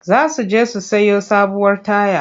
Za su je su sayo sabuwar taya.